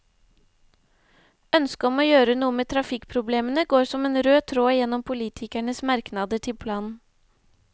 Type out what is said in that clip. Ønsket om å gjøre noe med trafikkproblemene går som en rød tråd gjennom politikernes merknader til planen.